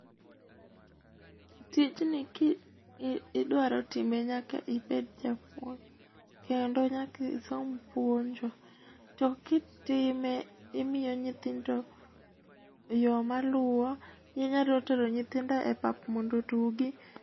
Tijni kidwaro time nyaka ibed japuoj kendo nyaka isom puonjo to kitime to imiyo nyithindo yo maluwo ,inyalo tero nyithindo e pap mondo otugi